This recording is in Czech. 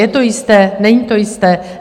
Je to jisté, není to jisté?